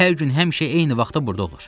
Hər gün həmişə eyni vaxtda burda olur.